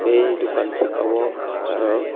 aii dukan saka o patar o.